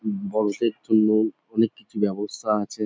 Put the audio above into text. বড়দের জন্য অনেককিছু ব্যাবস্থা আছে।